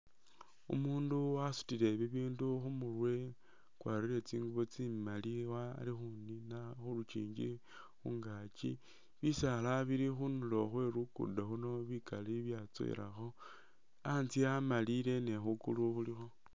Umundu wasutile bibindu khumurwe wakwarire tsingubo tsimali wa ali khunina khulukyingi khungakyi bisala bili khundulo khwe lukudo khuno bikali byatsowelakho antsye amalile ni khukulu khulikho.